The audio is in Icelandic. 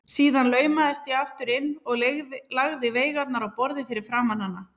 Síðan laumaðist ég aftur inn og lagði veigarnar á borðið fyrir framan hana.